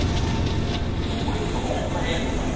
Búið að opna heiðina